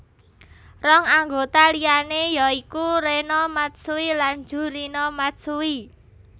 Rong anggota liané ya iku Rena Matsui lan Jurina Matsui